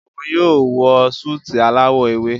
Òún yóò wọ Súìtì alawọ ewe.